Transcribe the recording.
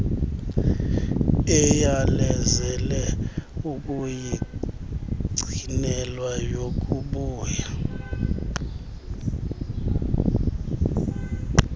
eyalezele ukuyigcinelwa yakubuya